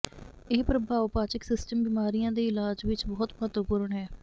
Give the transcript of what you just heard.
ਇਹ ਪ੍ਰਭਾਵ ਪਾਚਕ ਸਿਸਟਮ ਬਿਮਾਰੀਆਂ ਦੇ ਇਲਾਜ ਵਿੱਚ ਬਹੁਤ ਮਹੱਤਵਪੂਰਨ ਹੈ